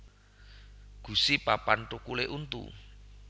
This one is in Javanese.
Gusi papan thukulé untu